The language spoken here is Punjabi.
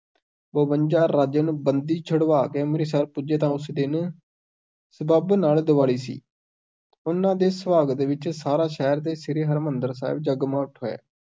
ਬਵੰਜਾ ਰਾਜਿਆਂ ਨੂੰ, ਬੰਦੀ ਛੁਡਵਾ ਕੇ ਅੰਮ੍ਰਿਤਸਰ ਪੁੱਜੇ ਤਾਂ ਉਸ ਦਿਨ ਸਬੱਬ ਨਾਲ ਦਿਵਾਲੀ ਸੀ, ਉਹਨਾਂ ਦੇ ਸੁਆਗਤ ਵਿੱਚ ਸਾਰਾ ਸ਼ਹਿਰ ਤੇ ਸ੍ਰੀ ਹਰਮਿੰਦਰ ਸਾਹਿਬ ਜਗਮਗਾ ਉਠਿਆ।